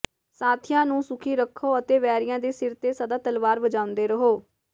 ਸਾਥੀਆਂ ਨੂੰ ਸੁਖੀ ਰਖੋ ਅਤੇ ਵੈਰੀਆਂ ਦੇ ਸਿਰ ਤੇ ਸਦਾ ਤਲਵਾਰ ਵਜਾਉਂਦੇ ਰਹੋ